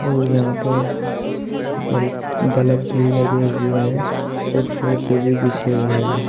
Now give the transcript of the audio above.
और यहां पर बल्ब बल्ब भी लगे हुए हैं और सोफे भी बिछे हुए हैं।